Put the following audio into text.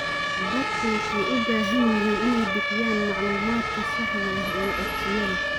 Dadku waxay u baahan yihiin inay bixiyaan macluumaadka saxda ah ee codsiyada.